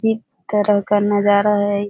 अजीब तरह का नजारा है इ ।